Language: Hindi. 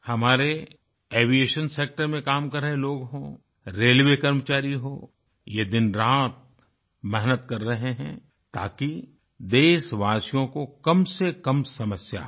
हमारे एविएशन सेक्टर में काम कर रहे लोग हों रेलवे कर्मचारी हों ये दिनरात मेहनत कर रहें हैं ताकि देशवासियों को कमसेकम समस्या हो